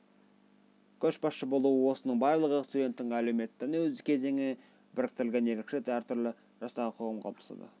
көшбасшы болу осының барлығы студенттің әлеуметтену кезеңі біріктірілген ерекше әртүрлі жастағы қоғам қалыптасады